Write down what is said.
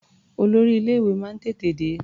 Olórí ilé-ìwé náà tètè dé.